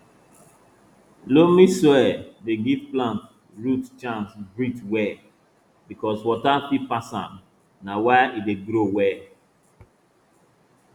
loamy soil dey give plant root chance breathe well because water fit pass am na why e dey grow well